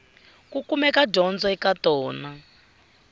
ku kumeka dyondzo eka tona